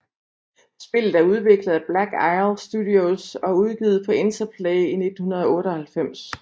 Spillet er udviklet af Black Isle Studios og udgivet af Interplay i 1998